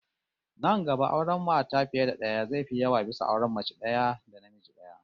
Nan gaba auren mata fiye da daya zai fi yawa bisa auren mace daya da namiji daya